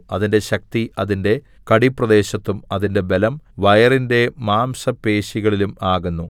അതിന്റെ ശക്തി അതിന്റെ കടിപ്രദേശത്തും അതിന്റെ ബലം വയറിന്റെ മാംസപേശികളിലും ആകുന്നു